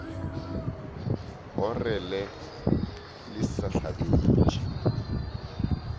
orele le sa go hlabetše